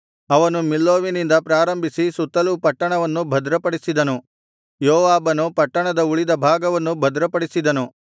ಅವನು ಮಿಲ್ಲೋವಿನಿಂದ ಪ್ರಾರಂಭಿಸಿ ಸುತ್ತಲೂ ಪಟ್ಟಣವನ್ನು ಭದ್ರಪಡಿಸಿದನು ಯೋವಾಬನು ಪಟ್ಟಣದ ಉಳಿದ ಭಾಗವನ್ನು ಭದ್ರಪಡಿಸಿದನು